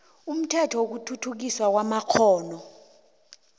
umthetho wokuthuthukiswa kwamakghono